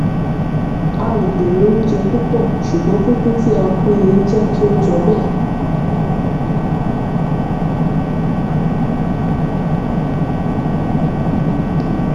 a ò gbèrò oúnjẹ púpò ṣùgbọn pínpín tí a pín in jé kí ó jọ béè